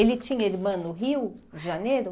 Ele tinha irmã no Rio de Janeiro?